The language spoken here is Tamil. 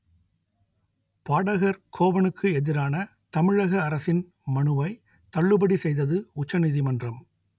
பாடகர் கோவனுக்கு எதிரான தமிழக அரசின் மனுவை தள்ளுபடி செய்தது உச்ச நீதிமன்றம்